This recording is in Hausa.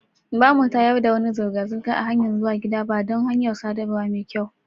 Ba mu tayar da wani zirga-zirga a hanyan zuwa gida ba dan hanyar sadarwa mai kyau.